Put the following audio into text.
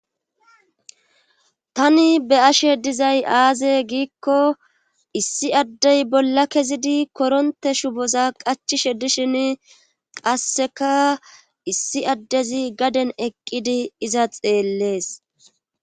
tani be7ashe dizay aaze giikko issi addey bolla kezidi koronte shuboza qachishe dishin qasseka issi addezi gaden eqqidi iza xeellees